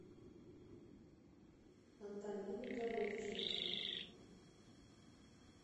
антонины головченко